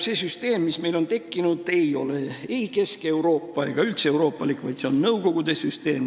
See süsteem, mis meil on tekkinud, ei ole ei keskeuroopalik ega üldse euroopalik, vaid see on Nõukogude süsteem.